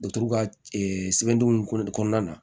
ka sɛbɛndon kɔnɔna na